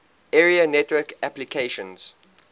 area network applications